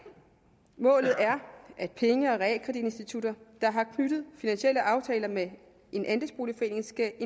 målet er at penge og realkreditinstitutter der har knyttet finansielle aftaler med en andelsboligforening skal